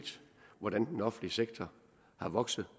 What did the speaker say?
hvordan den offentlige sektor er vokset